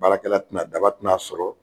Baarakɛla tɛna daba tɛ na sɔrɔ.